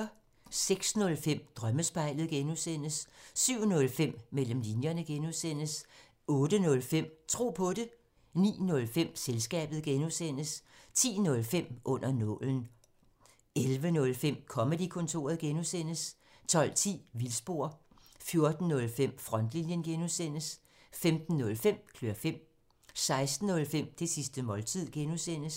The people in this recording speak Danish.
06:05: Drømmespejlet (G) 07:05: Mellem linjerne (G) 08:05: Tro på det 09:05: Selskabet (G) 10:05: Under nålen 11:05: Comedy-kontoret (G) 12:10: Vildspor 14:05: Frontlinjen (G) 15:05: Klør fem 16:05: Det sidste måltid (G)